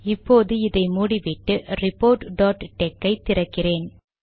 இப்போது இதை மூடிவிட்டு ரிபோர்ட் டாட் டெக் ஐ திறக்கிறேன்